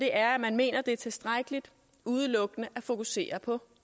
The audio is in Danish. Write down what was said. er at man mener at det er tilstrækkeligt udelukkende at fokusere på